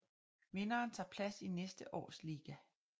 Vinderen tager plads i næste års liga